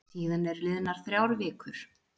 Síðan eru liðnar þrjár vikur.